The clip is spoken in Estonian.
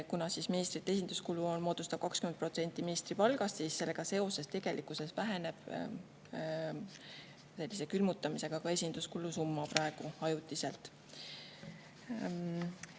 Kuna ministri esinduskulu moodustab 20% ministri palgast, siis tegelikkuses väheneb sellise külmutamisega praegu ajutiselt ka esinduskulu summa.